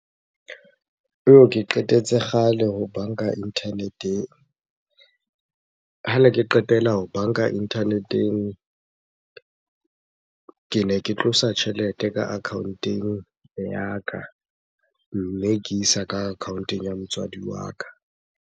Ke qetetse kgale ho banka internet-eng. Hane ke qetela ho banka internet-eng, kene ke tlosa tjhelete ka account-eng ya ka, mme ke isa ka account-eng ya motswadi wa ka.